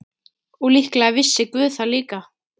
Og líklega vissi guð það líka.